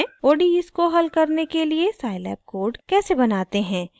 odes को हल करने के लिए scilab कोड कैसे बनाते हैं